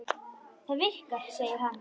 Það virkar, segir hann.